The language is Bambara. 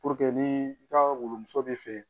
ni i ka woromuso b'i fɛ